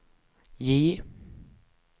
J